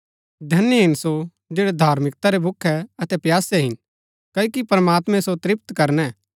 धन्य हिन सो जैड़ै धार्मिकता रै भूखै अतै प्यासै हिन क्ओकि प्रमात्मैं सो तृप्त करणै